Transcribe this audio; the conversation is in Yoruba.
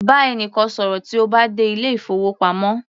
Bá ẹnìkan ṣọ̀rọ̀ tí o bá dé ilé ìfowópamọ́